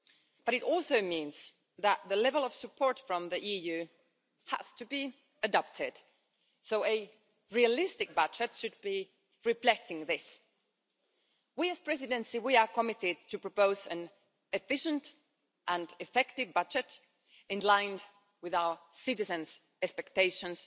But it also means that the level of support from the EU has to be adapted so a realistic budget should be reflecting this. As the Presidency, we are committed to proposing an efficient and effective budget in line with our citizens' expectations,